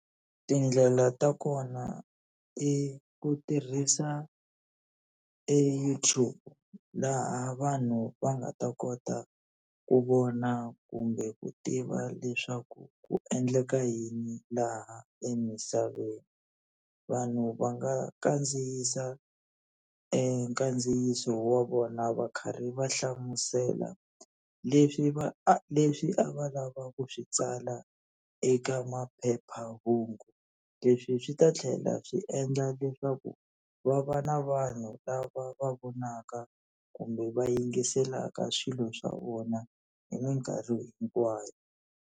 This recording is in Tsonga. Tindlela ta kona i ku tirhisa e YouTube, laha vanhu va nga ta kota ku vona kumbe ku tiva leswaku ku endleka yini laha emisaveni. Vanhu va nga kandziyisa e nkandziyiso wa vona va karhi va hlamusela leswi va leswi a va lavaka ku swi tsala eka maphepha phephahungu. Leswi swi ta tlhela swi endla leswaku va va na vanhu lava va vonaka kumbe va yingiselaka swilo swa vona hi minkarhi hinkwayo.